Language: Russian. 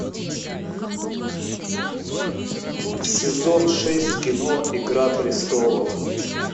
сезон шесть кино игра престолов